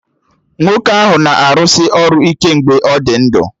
Nwoke ahụ na-arụsị ọrụ ike mgbe ọ dị ndụ